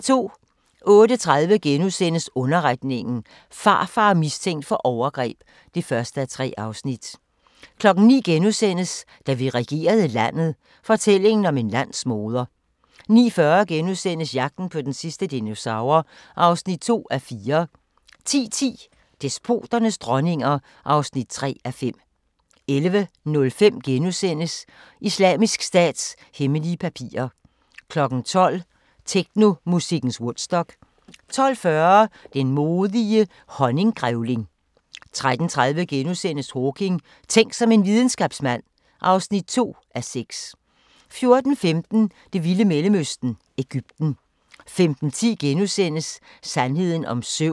08:30: Underretningen – Farfar mistænkt for overgreb (1:3)* 09:00: Da vi regerede landet – fortællingen om en landsmoder * 09:40: Jagten på den sidste dinosaur (2:4)* 10:10: Despoternes dronninger (3:5) 11:05: Islamisk Stats hemmelige papirer * 12:00: Technomusikkens Woodstock 12:40: Den modige honninggrævling 13:30: Hawking: Tænk som en videnskabsmand (2:6)* 14:15: Det vilde Mellemøsten – Egypten 15:10: Sandheden om søvn *